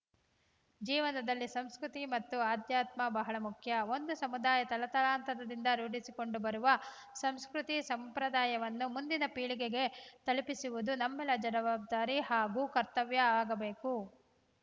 ಜೀವನದಲ್ಲಿ ಸಂಸ್ಕೃತಿ ಮತ್ತು ಆಧ್ಯಾತ್ಮ ಬಹಳ ಮುಖ್ಯ ಒಂದು ಸಮುದಾಯ ತಲತಲಾಂತರದಿಂದ ರೂಢಿಸಿಕೊಂಡು ಬರುವ ಸಂಸ್ಕೃತಿ ಸಂಪ್ರದಾಯವನ್ನು ಮುಂದಿನ ಪೀಳಿಗೆಗೆ ತಲುಪಿಸುವುದು ನಮ್ಮೆಲ್ಲರ ಜವಾಬ್ದಾರಿ ಹಾಗೂ ಕರ್ತವ್ಯವಾಗಬೇಕು